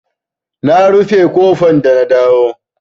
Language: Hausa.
Na rufe ƙofa da na dawo.